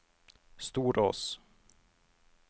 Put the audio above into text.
Storås